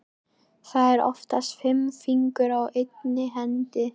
Það eru oftast fimm fingur á einni hendi.